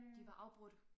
De var afbrudt